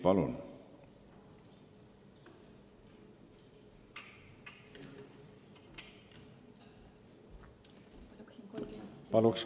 Palun!